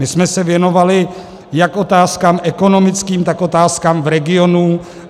My jsme se věnovali jak otázkám ekonomickým, tak otázkám v regionu.